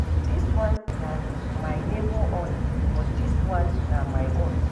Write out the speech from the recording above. Dis one na my neighbor own but dis one na my own.